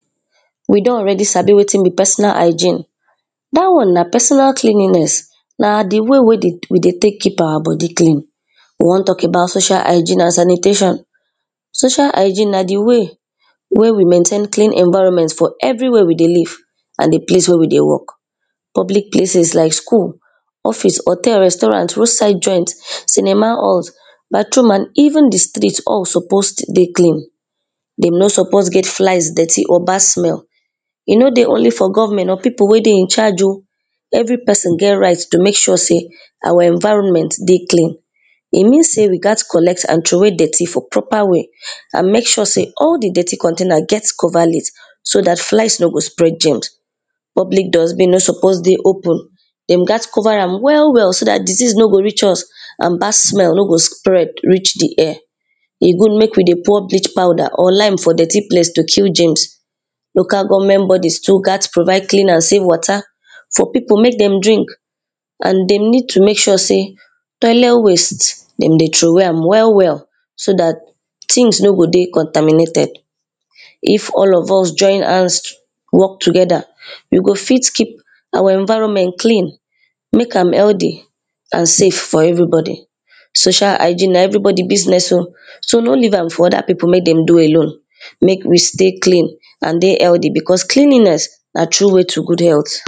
We don already sabi wetin be personal hygiene Dat one na personal cleanliness, na di way wey we dey take keep our body clean We wan talk about social hygiene and sanitation. Social hygiene na di way wey we maintain clean environment for everywhere we dey live and di place wey we dey work public places like school, office, hotel, restuarant, road side joint, cinema halls bathroom and even di street all suppose to dey clean Dem no suppose get flies, dirty or bad smell E no dey only for government or pipo wey dey in charge oh Every person get right to make sure sey our environment dey clean E mean sey we gat collect and troway dirty for proper way and make sure sey all di dirty get cover lid so dat flies no go spread germs. Public dustbin no suppose dey open Dem gat cover am welll well so dat disease no go reach us and bad smell no go spread reach di air E good make we dey pour bleach powder or lime for dirty place to kill germs Local government body too gat provide clean and safe water for pipo make dem drink and dem need to make sure sey toilet waste dem dey troway am well well so dat things no go dey contaminated. If all of us join hand walk together, we go fit keep our environment clean make healthy and safe for everybody. Social hygiene na everybody business oh so no leave am for ther pipo make dem do alone. Make we stay clean and dey healthy, becos cleanliness na true way to good health